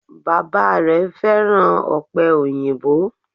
Bàbá rè féràn òpè òyìnbó